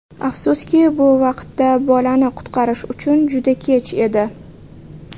Afsuski, bu vaqtda bolani qutqarish uchun juda kech edi.